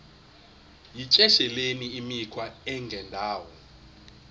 yityesheleni imikhwa engendawo